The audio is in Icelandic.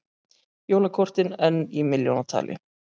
Jólakortin enn í milljónatali